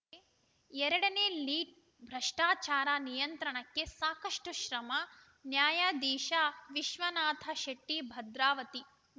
ಎರಡ ನೇ ಲೀಡ್‌ ಭ್ರಷ್ಟಾಚಾರ ನಿಯಂತ್ರಣಕ್ಕೆ ಸಾಕಷ್ಟುಶ್ರಮ ನ್ಯಾಯಾಧೀಶ ವಿಶ್ವನಾಥಶೆಟ್ಟಿ ಭದ್ರಾವತಿ